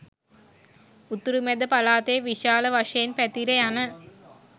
උතුරු මැද පළාතේ විශාල වශයෙන් පැතිර යන